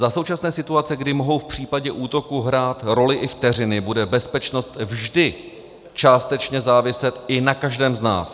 Za současné situace, kdy mohou v případě útoku hrát roli i vteřiny, bude bezpečnost vždy částečně záviset i na každém z nás.